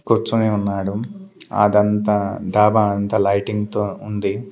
కూర్చుని ఉన్నాడు అదంతా డాబా అంతా లైటింగ్ తో ఉంది.